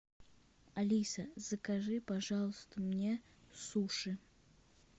алиса закажи пожалуйста мне суши